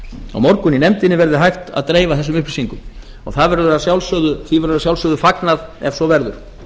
á morgun í nefndinni verði hægt að dreifa þessum upplýsingum og því verður að sjálfsögðu fagnað ef svo verður